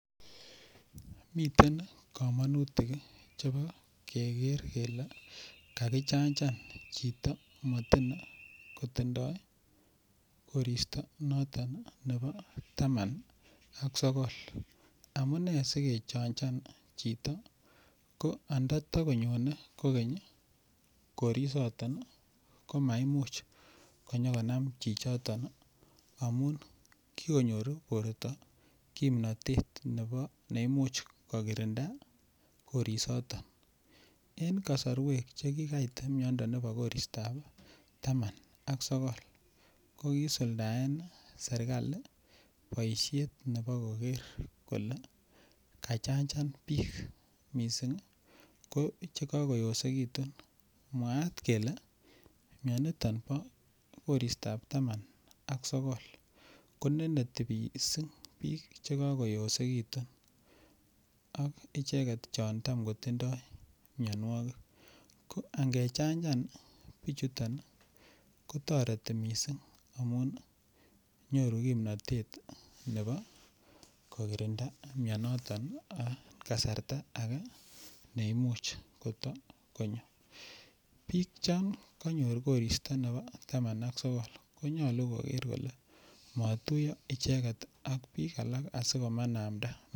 Miten kamanutik chebo keger kele kakichanjan chito motin kotindoi koristo noton nebo taman ak sogol amune si kechanjan chito ko andatokonyone kogeny koristab taman ak sogol maimuch konyo konam chichoto amun borto kimnatet ne Imuch kokirinda korisoton en kasarwek Che ki kait miando nebo koristab taman ak sogol ko kisuldaen serkali boisiet nebo koger kole kachanjan bik mising ko Che kagoyosekitun mwaat kole mianito bo koristab taman ak sogol koneneti mising bik Che kagoyosekitun Ak icheget chon Tam kotindoi mianwogik ko angechanjan bichuto kotoreti mising amun nyoru kimnatet nebo kokirinda mianito en kasarta age ne Imuch koto konyo bik chon konyor koristab taman ak sogol ko nyolu koger Kole matuyo icheget ak bik alak asikobit komanamda